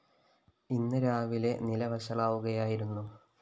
ഇന്ന് രാവിലെ നില വഷളാവുകയായിരുന്നു